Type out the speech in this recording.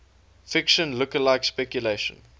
fiction lookalike speculation